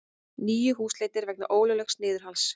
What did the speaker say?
Níu húsleitir vegna ólöglegs niðurhals